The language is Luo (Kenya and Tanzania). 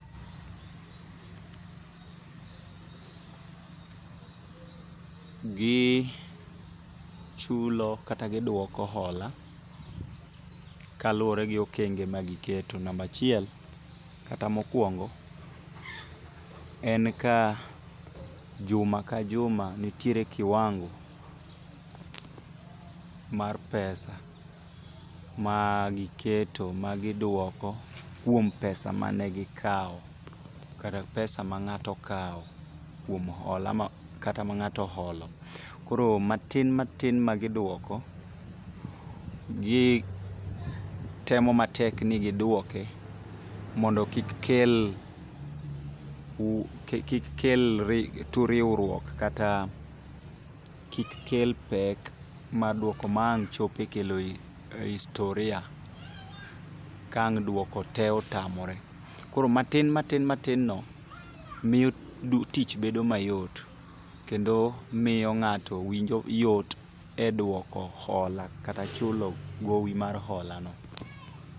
| gichulo kata giduoko hola kaluwore gi okenge ma giketo namba achiel, kata mokuongo jen ka uma ka juma nitiere kiwango mar pesa magiketo magiduoko kuom pesa mane gikawo kata pesa mang'ato okawo kuom hola ma kata ma ng'ato oholo. Koro matin matin magiduoko gitemo matek ni gidwoke mondo kik kel kik kel turiwruok kata kik kel pek eduoko ma ang' kelo historia ka ang' dwoko te otamore. Koro matin matin no miyo tich bedo mayot kendo miyo ng'ato yudo yot eduoko hola kata chulo gowi mar holano